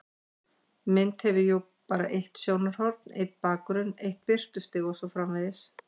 Mynd hefur jú bara eitt sjónarhorn, einn bakgrunn, eitt birtustig og svo framvegis.